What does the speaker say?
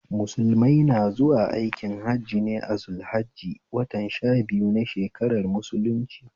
Musulmai na zuwa aikin Hajji ne a zul hajji watan sha biyu na shakarar mulunci